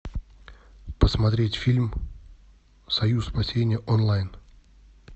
посмотреть фильм союз спасения онлайн